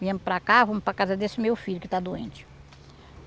Viemos para cá, fomos para casa desse meu filho, que está doente.